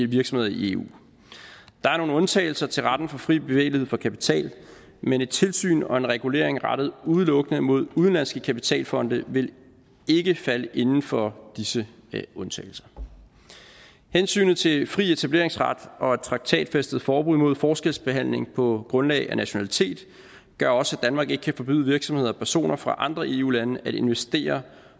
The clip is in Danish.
virksomheder i eu der er nogle undtagelser til retten for fri bevægelighed for kapital men et tilsyn og en regulering rettet udelukkende mod udenlandske kapitalfonde vil ikke falde inden for disse undtagelser hensynet til fri etableringsret og et traktatfæstet forbud mod forskelsbehandling på grundlag af nationalitet gør også at danmark ikke kan forbyde virksomheder og personer fra andre eu lande at investere